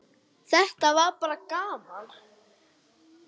Þetta var bara gaman.